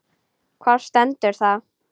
Hvar stendur það?